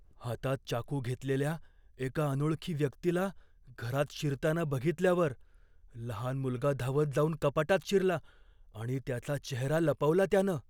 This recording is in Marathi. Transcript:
हातात चाकू घेतलेल्या एका अनोळखी व्यक्तीला घरात शिरताना बघितल्यावर लहान मुलगा धावत जाऊन कपाटात शिरला, आणि त्याचा चेहरा लपवला त्यानं.